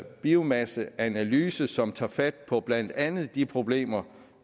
biomasseanalyse som tager fat på blandt andet de problemer